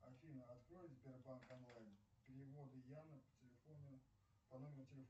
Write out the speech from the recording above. афина открой сбербанк онлайн переводы яна по телефону по номеру телефона